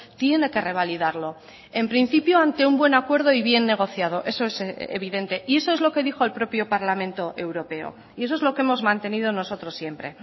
tiene que revalidarlo en principio ante un buen acuerdo y bien negociado eso es evidente y eso es lo que dijo el propio parlamento europeo y eso es lo que hemos mantenido nosotros siempre